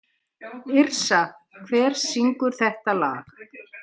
Yrsa, hver syngur þetta lag?